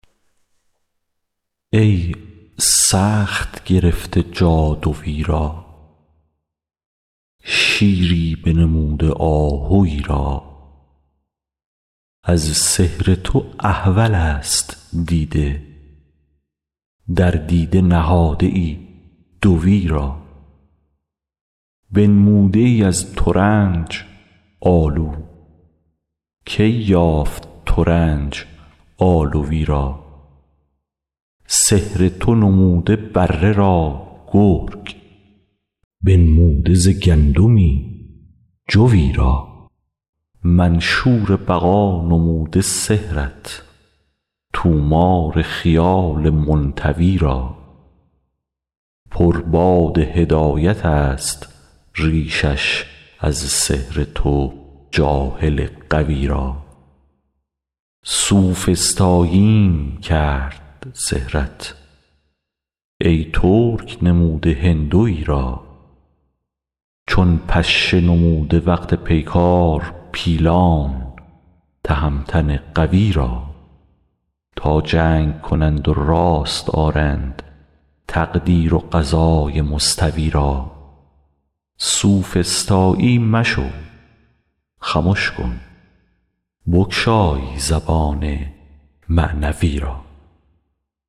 ای سخت گرفته جادوی را شیری بنموده آهوی را از سحر تو احولست دیده در دیده نهاده ای دوی را بنموده ای از ترنج آلو کی یافت ترنج آلوی را سحر تو نمود بره را گرگ بنموده ز گندمی جوی را منشور بقا نموده سحرت طومار خیال منطوی را پر باد هدایتست ریشش از سحر تو جاهل غوی را سوفسطاییم کرد سحرت ای ترک نموده هندوی را چون پشه نموده وقت پیکار پیلان تهمتن قوی را تا جنگ کنند و راست آرند تقدیر و قضای مستوی را سوفسطایی مشو خمش کن بگشای زبان معنوی را